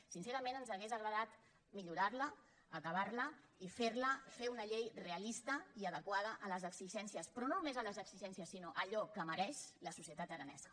sincerament ens hauria agradat millorar·la acabar·la i fer una llei realista i adequada a les exigències però no només a les exigències sinó a allò que mereix la societat aranesa